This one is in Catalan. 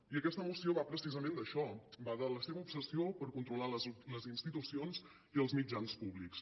i aquesta moció va precisament d’això va de la seva obsessió per controlar les institucions i els mitjans públics